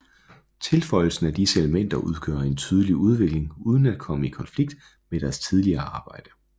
Tilføjelsen af disse elementer udgør en tydelig udvikling uden at komme i konflikt med deres tidligere arbejde